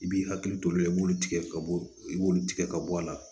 I b'i hakili t'o la i b'olu tigɛ ka bɔ i b'olu tigɛ ka bɔ a la